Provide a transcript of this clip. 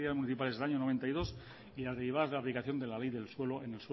municipales del año noventa y dos y las derivadas de la aplicación de la ley del suelo en